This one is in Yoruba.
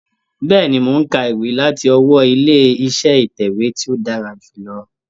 Bẹ́ẹ̀ni, mò ń ka ìwé láti ọwọ́ ilé iṣẹ́ ìtẹ̀wé tí ó dára jù lọ.